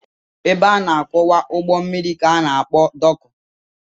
Ebe a na-akwụwa ụgbọ mmiri ka a na-akpọ dọọkụ